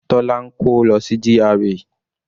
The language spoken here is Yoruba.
Tola ń kó lọ sí GRA.